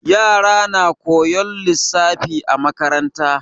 Yara na koyan lissafi a makaranta.